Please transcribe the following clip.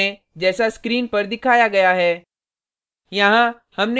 code को type करें जैसा स्क्रीन पर दिखाया गया है